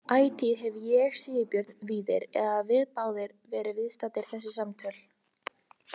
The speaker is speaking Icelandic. Ætíð hefur ég, Sigurbjörn Víðir, eða við báðir, verið viðstaddir þessi samtöl.